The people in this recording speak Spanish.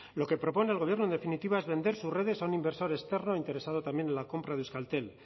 lo que propone el gobierno en definitiva es vender sus redes a un inversor externo e interesado también en la compra de euskaltel